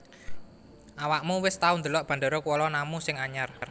Awakmu wis tau ndelok Bandara Kuala Namu sing anyar